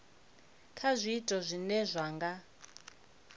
kha zwiito zwine zwa nga